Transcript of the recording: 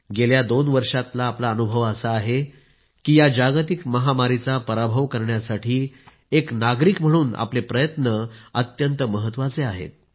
गेल्या दोन वर्षातला आपला अनुभव असा आहे की या जागतिक महामारीचं पराभव करण्यासाठी एक नागरिक म्हणून आपले प्रयत्न अत्यंत महत्त्वाचे आहेत